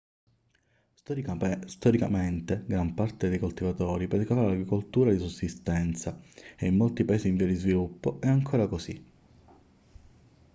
storicamente gran parte dei coltivatori praticava l'agricoltura di sussistenza e in molti paesi in via di sviluppo è ancora così